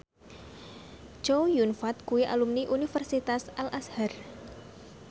Chow Yun Fat kuwi alumni Universitas Al Azhar